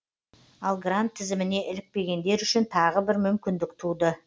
ал грант тізіміне ілікпегендер үшін тағы бір мүмкіндік туды